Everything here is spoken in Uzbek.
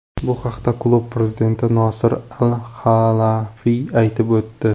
Bu haqda klub prezidenti Nosir Al-Halayfiy aytib o‘tdi.